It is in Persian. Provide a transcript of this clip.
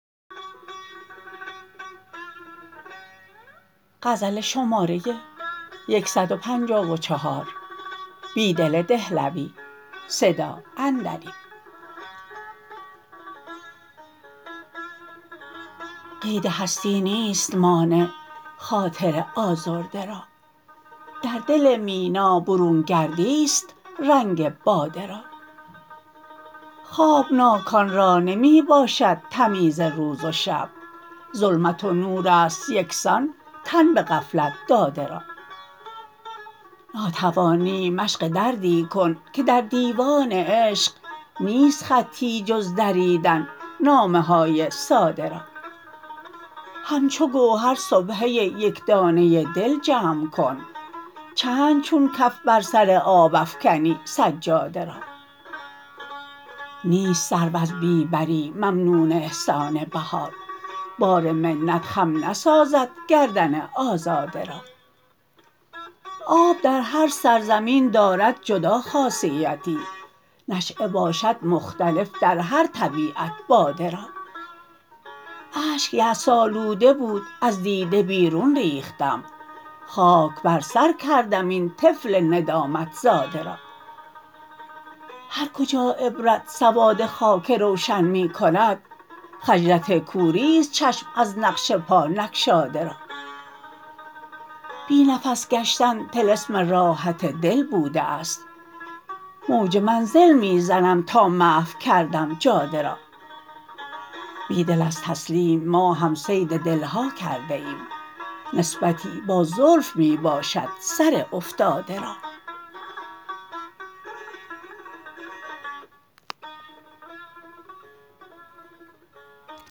قید هستی نیست مانع خاطر آزاده را در دل مینا برون گردی ست رنگ باده را خوابناکان را نمی باشد تمیز روز و شب ظلمت و نور است یکسان تن به غفلت داده را ناتوانی مشق دردی کن که در دیوان عشق نیست خطی جز دریدن نامه های ساده را همچو گوهر سبحه یکدانه دل جمع کن چند چون کف بر سر آب افکنی سجاده را نیست سرو از بی بری ممنون احسان بهار بار منت خم نسازد گردن آزاده را آب در هر سرزمین دارد جدا خاصیتی نشیه باشد مختلف در هر طبیعت باده را اشک یأس آلوده بود از دیده بیرون ریختم خاک بر سر کردم این طفل ندامت زاده را هرکجا عبرت سواد خاک روشن می کند خجلت کوری ست چشم از نقش پا نگشاده را بی نفس گشتن طلسم راحت دل بوده است موج منزل می زنم تا محو کردم جاده را بیدل از تسلیم ما هم صید دل ها کرده ایم نسبتی با زلف می باشد سر افتاده را